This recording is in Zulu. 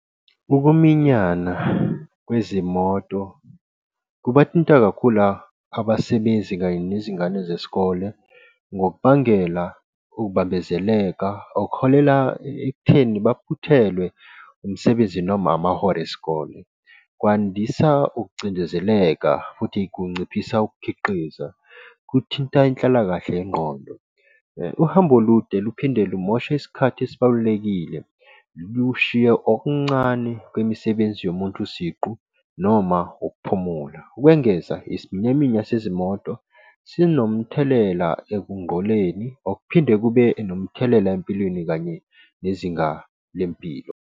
Ukuminyana kwezimoto kubathinta kakhulu abasebenzi kanye nezingane zesikole, ngokubangela ukubambezeleka, okuholela ekutheni baphuthelwe umsebenzi noma amahora esikole. Kwandisa ukucindezeleka futhi kunciphisa ukukhiqiza kuthinta inhlalakahle yengqondo. Uhambo olude luphinde lumoshe isikhathi esibalulekile, lushiye okuncane kwemisebenzi yomuntu siqu noma ukuphumula. Ukwengeza isiminyaminya sezimoto sinomthelela ekungqoleni, okuphinde kube nomthelela empilweni kanye nezinga lempilo.